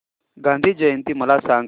गांधी जयंती मला सांग